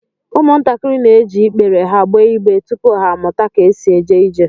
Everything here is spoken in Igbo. Umuntakịrị na-eji ịkpèrè ha gbéé ịgbé tupu ha amụta ka e sị éjé ijè